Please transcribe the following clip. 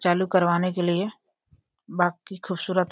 चालू करवाने की लिए बाकि खूबसूरत --